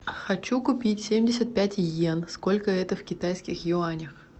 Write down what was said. хочу купить семьдесят пять йен сколько это в китайских юанях